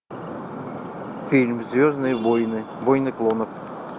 фильм звездные войны войны клонов